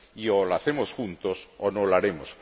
O lo hacemos juntos, o no lo haremos.